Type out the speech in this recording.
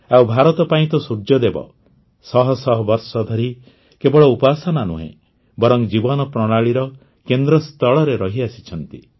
ଆଉ ଭାରତ ପାଇଁ ତ ସୂର୍ଯ୍ୟଦେବ ଶହ ଶହ ବର୍ଷ ଧରି କେବଳ ଉପାସନା ନୁହେଁ ବରଂ ଜୀବନ ପ୍ରଣାଳୀର କେନ୍ଦ୍ରସ୍ଥଳରେ ରହିଆସିଛନ୍ତି